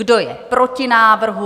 Kdo je proti návrhu?